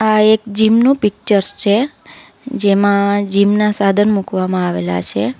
આ એક જીમ નું પિક્ચર્સ છે જેમાં જીમ ના સાધન મૂકવામાં આવેલા છે.